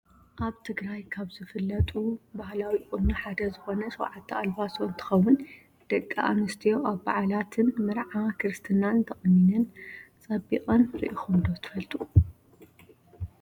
ኣብ ትግራይ ካብ ዝፍለጡ ባህላዊ ቁኖ ሓደ ዝኮነ ሸውዓተ ኣልባሶ እንትከውን ደቂ ኣንስትዮ ኣብ ባዓላትን መርዓ፣ ክርስትናን ተቆኒነን ፀቢቀን ሪኢኩም ዶ ትፈልጡ?